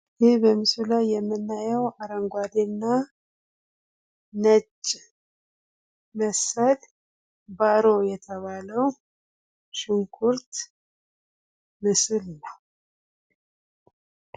ይህ በምስሉ ላይ የምናየው አረንጓዴ እና ነጭ መሰል ባሮ የተባለው ሽንኩርት ምስል ነው።